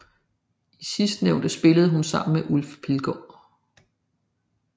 I sidstnævnte spillede hun sammen med Ulf Pilgaard